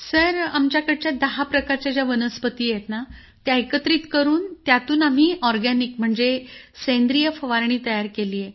sir आमच्याकडच्या दहा प्रकारच्या ज्या वनस्पती आहेत त्या एकत्रित करून त्यातून आम्ही ऑरगॅनिक म्हणजे सेंद्रिय फवारणी तयार केली आहे